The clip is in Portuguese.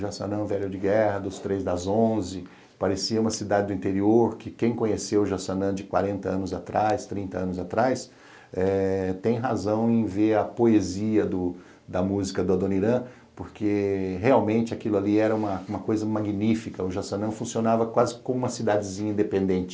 Jaçanã, o Velho de Guerra, dos Três das Onze, parecia uma cidade do interior que quem conheceu Jaçanã de quarenta anos atrás, trinta anos atrás, eh tem razão em ver a poesia da música do Adoniran, porque realmente aquilo ali era uma coisa magnífica, o Jaçanã funcionava quase como uma cidadezinha independente.